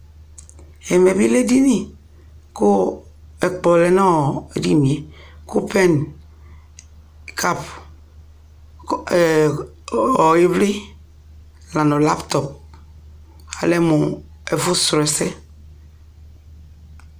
ɛmɛ bi lɛ ɛdini kʋ ɛkplɔ lɛnʋɔ ɛdiniɛ kʋ pen, cup, kʋ ivli lanʋ laptop, alɛmʋ ɛƒʋ srɔ ɛsɛ